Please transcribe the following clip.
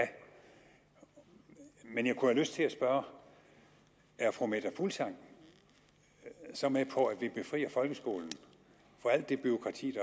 men jeg kunne have lyst til at spørge er fru meta fuglsang så med på at vi befrier folkeskolen for alt det bureaukrati